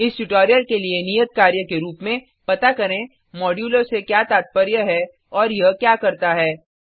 इस ट्यूटोरियल के लिए नियत कार्य के रुप में पता करें मोड्यूलो से क्या तात्पर्य है और यह क्या करता है